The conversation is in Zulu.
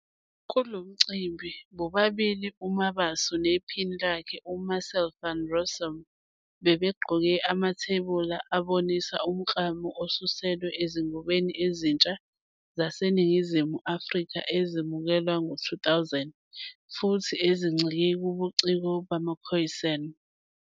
Kulomcimbi, bobabili uMabaso nephini lakhe uMarcel van Rossum, bebegqoke amathebula abonisa umklamo osuselwe ezingubeni ezintsha zaseNingizimu Afrika ezamukelwa ngo-2000 futhi ezincike kubuciko bamaKhoisan.